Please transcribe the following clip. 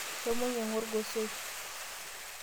Shomo inyang'u orgosoi.